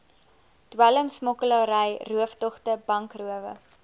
dwelmsmokkelary rooftogte bankrowe